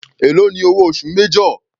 Èló ni owó oṣù major.